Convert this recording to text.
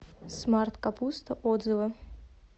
смарт капуста отзывы